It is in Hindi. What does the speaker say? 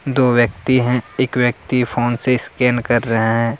दो व्यक्ति हैं। एक व्यक्ति फोन से स्कैन कर रहे हैं।